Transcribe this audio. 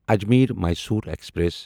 Ajmer Mysore express